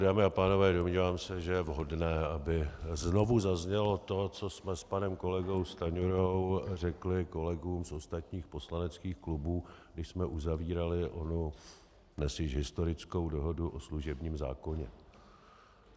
Dámy a pánové, domnívám se, že je vhodné, aby znovu zaznělo to, co jsme s panem kolegou Stanjurou řekli kolegům z ostatních poslaneckých klubů, když jsme uzavírali onu dnes již historickou dohodu o služebním zákoně.